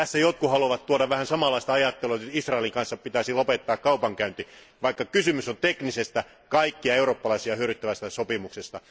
Jotkut haluavat tuoda esiin vähän samanlaista ajattelua, että Israelin kanssa pitäisi lopettaa kaupankäynti, vaikka kysymys on teknisestä, kaikkia eurooppalaisia hyödyntävästä sopimuksesta.